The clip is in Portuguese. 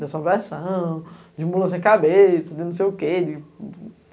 De assombração, de mula sem cabeça, de não sei o quê.